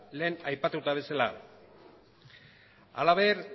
lehen aipatu bezala halaber